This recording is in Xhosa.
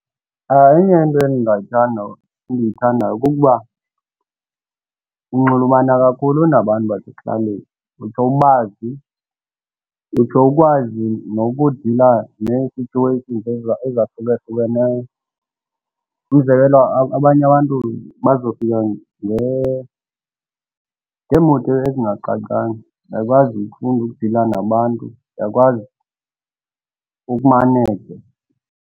Enye yento endiyithandayo kukuba unxulumana kakhulu nabantu basekuhlaleni utsho ubazi, utsho ukwazi nokudala nee-situations ezahlukahlukeneyo. Umzekelo, abanye abantu bazofika ngeemoto ezingacacanga, uyakwazi ukufunda ukudila nabantu uyakwazi ukumaneja.